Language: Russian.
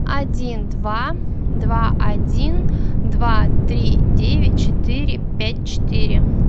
один два два один два три девять четыре пять четыре